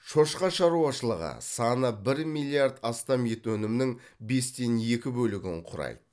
шошқа шаруашылығы саны бір миллиард астам ет өнімінің бестен екі бөлігін кұрайды